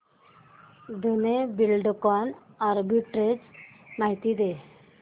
Dhenu Buildcon arbitrage माहिती दे